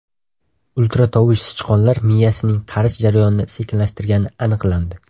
Ultratovush sichqonlar miyasining qarish jarayonini sekinlashtirgani aniqlandi.